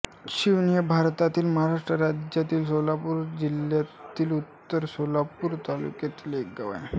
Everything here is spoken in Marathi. शिवणी हे भारतातील महाराष्ट्र राज्यातील सोलापूर जिल्ह्यातील उत्तर सोलापूर तालुक्यातील एक गाव आहे